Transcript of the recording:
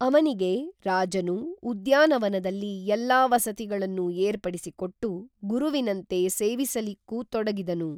ಅವನಿಗೆ ರಾಜನು ಉದ್ಯಾನವನದಲ್ಲಿ ಎಲ್ಲಾ ವಸತಿಗಳನ್ನೂ ಏರ್ಪಡಿಸಿ ಕೊಟ್ಟು ಗುರುವಿನಂತೆ ಸೇವಿಸಲಿಕ್ಕೂ ತೊಡಗಿದನು